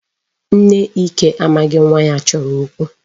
Nne Ike amaghị nwa ya chọrọ okwu.